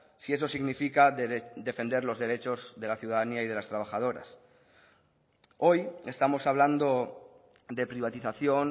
si eso significa defender los derechos de la ciudadanía y de las trabajadoras hoy estamos hablando de privatización